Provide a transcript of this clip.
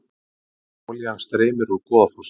Olían streymir úr Goðafossi